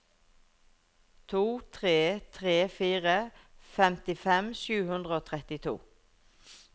to tre tre fire femtifem sju hundre og trettito